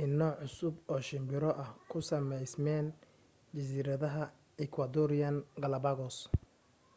in nooc cusub oo shimbiro ah ku sameysmeen jasiiradaha ecuadorean galápagos